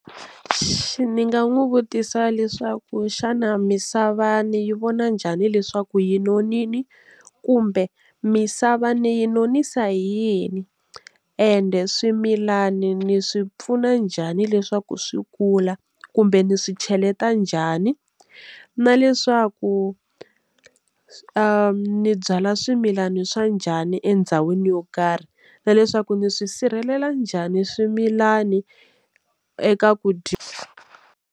Ni nga n'wi vutisa leswaku xana misava ni yi vona njhani leswaku yi nonile kumbe misava ni yi nonisa hi yini ende swimilani ni swi pfuna njhani leswaku swi kula kumbe ndzi swi cheleta njhani na leswaku ni byala swimilani swa njhani endhawini yo karhi na leswaku ndzi swi sirhelela njhani swimilani eka ku dya.